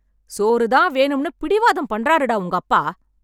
சோறுதான் வேணும்னு பிடிவாதம் பண்றாருடா உங்கப்பா...